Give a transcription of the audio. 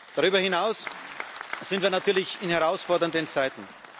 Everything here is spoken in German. Darüber hinaus sind wir natürlich in herausfordernden Zeiten.